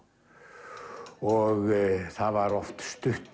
og það var oft stutt